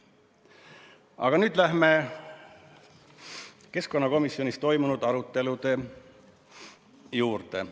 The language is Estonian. Aga nüüd lähme keskkonnakomisjonis toimunud arutelude juurde.